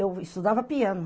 Eu estudava piano.